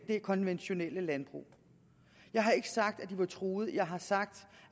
det konventionelle landbrug jeg har ikke sagt at de er truet jeg har sagt